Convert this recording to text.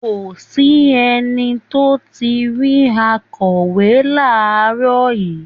Kò sí ẹni tó ti rí akọ̀wé láàárọ̀ yìí